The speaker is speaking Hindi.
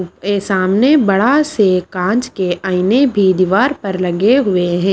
के सामने बड़ा से कांच के आईने भी दीवार पर लगे हुए हैं।